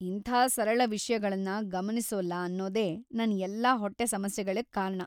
ಇಂಥಾ ಸರಳ ವಿಷ್ಯಗಳನ್ನ ಗಮನಿಸೊಲ್ಲ ಅನ್ನೊದೇ ನನ್ ಎಲ್ಲಾ ಹೊಟ್ಟೆ ಸಮಸ್ಯೆಗಳಿಗ್‌ ಕಾರಣ.